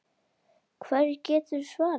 Hverju geturðu svarað?